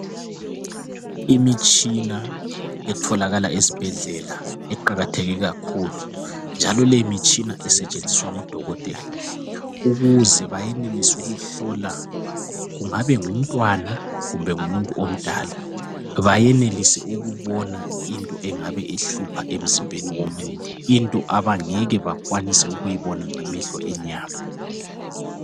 Imitshina etholakala esibhedlela iqakatheke kakhulu njalo le mitshina isetshenziswa ngudokotela ukuze bayenelise ukuhlola, kungabe ngumntwana kumbe ngumuntu omdala bayenelise ukubona into engabe ihlupha emzimbeni womuntu. Into abangeke bakwanise ukuyibona ngamehlo enyama.